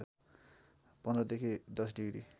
१५ देखि १० डिग्री